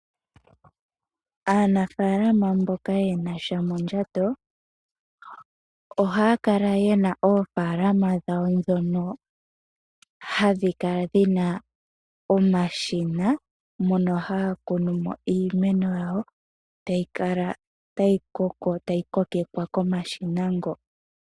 Aanafaalama mboka yena sha mondjato ohaya kala yena oofaalama dhawo ndhono hadhi kala dhina omashina mono haya kunu mo iimeno yawo tayi kala tayi kokekwa komashina ngo.